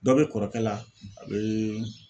Dɔ bɛ kɔrɔkɛ la, a bɛ